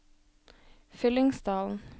Fyllingsdalen